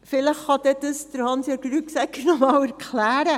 Vielleicht kann es Hans Jörg Rüegsegger noch erklären.